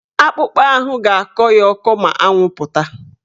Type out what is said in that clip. Akpụkpa ahụ ga-akọ ya ọkọ ma anwụ pụta.